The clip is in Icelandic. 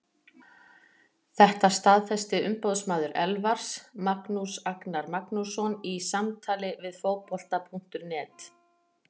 Þetta staðfesti umboðsmaður Elfars, Magnús Agnar Magnússon, í samtali við Fótbolta.net.